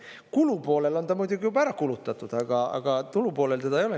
Kulu poolel on ta muidugi juba ära kulutatud, aga tulu poolel teda ei ole.